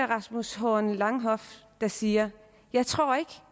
rasmus horn langhoff der siger jeg tror ikke